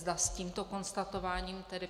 Zda s tímto konstatováním tedy